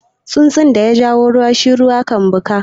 Tsunsun da yaja ruwa shi ruwa yake duka